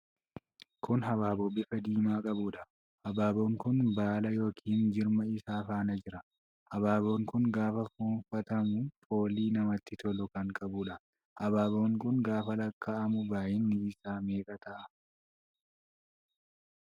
Kun habaaboo bifa diimaa qabuudha. Habaaboon kun baala yookiin jirma isaa faana jira. Habaaboon kun gaafa fuunfatamu foolii namatti tolu kan qabuudha. Habaaboon kun gaafa laakka'amu baay'inni isaa meeqa ta'a?